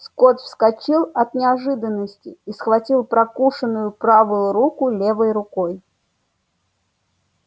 скотт вскочил от неожиданности и схватил прокушенную правую руку левой рукой